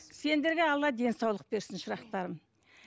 сендерге алла денсаулық берсін шырақтарым